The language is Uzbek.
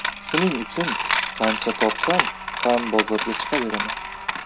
Shuning uchun qancha topsam ham bozorga chiqaveraman.